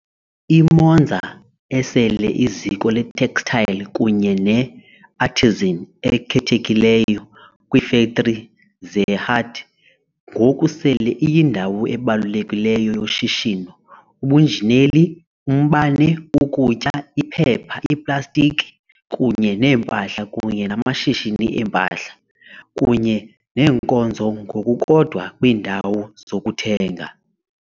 I-Monza, esele iziko le-textile kunye ne-artisan ekhethekileyo kwiifektri ze-hat, ngoku sele iyindawo ebalulekileyo yoshishino ubunjineli, umbane, ukutya, iphepha, iplastiki kunye nempahla kunye namashishini eempahla kunye neenkonzo, ngokukodwa kwiindawo zokuthenga.